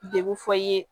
Degun fɔ i ye